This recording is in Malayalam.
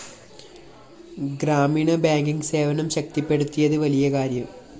ഗ്രാമീണ ബാങ്കിങ്‌ സേവനം ശക്തിപ്പെടുത്തിയത് വലിയ കാര്യം